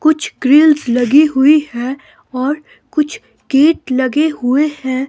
कुछ ग्रिल्स लगी हुई है और कुछ गेट लगे हुए है।